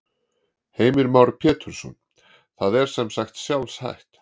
Heimir Már Pétursson: Það er sem sagt sjálfhætt?